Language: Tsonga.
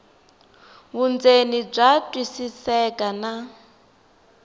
vundzeni bya twisiseka na